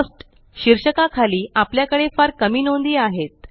Costशीर्षका खाली आपल्याकडे फार कमी नोंदी आहेत